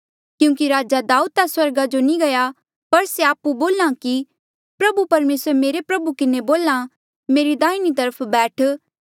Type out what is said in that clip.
क्यूंकि राजा दाऊद ता स्वर्गा जो नी गया पर से आपु बोल्हा कि प्रभु परमेसरे मेरे प्रभु किन्हें बोल्या मेरी दाहिनी तरफ बैठ